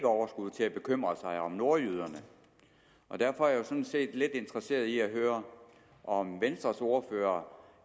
overskud til at bekymre sig om nordjyderne derfor er jeg sådan set lidt interesseret i at høre om venstres ordfører